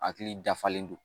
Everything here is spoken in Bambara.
Hakili dafalen don